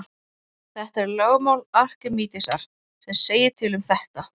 Það er lögmál Arkímedesar sem segir til um þetta.